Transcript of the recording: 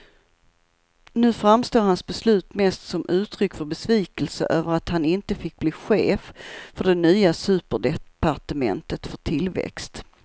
Nu framstår hans beslut mest som uttryck för besvikelse över att han inte fick bli chef för det nya superdepartementet för tillväxt.